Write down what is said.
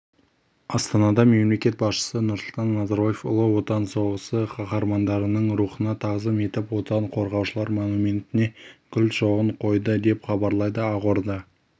астанада мемлекет басшысы нұрсұлтан назарбаев ұлы отан соғысы қаһармандарының рухына тағзым етіп отан қорғаушылар монументіне гүл шоғын қойды деп хабарлайды ақорда